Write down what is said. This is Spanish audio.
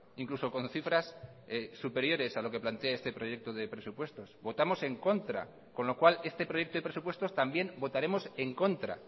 incluso con cifras superiores a lo que plantea este proyecto de presupuestos votamos en contra con lo cual este proyecto de presupuestos también votaremos en contra